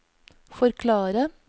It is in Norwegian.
forklare